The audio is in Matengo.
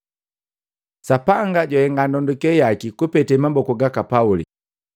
Sapanga jwahenga ndonduke yaki kupete maboku gaka Pauli.